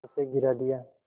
उसे गिरा दिया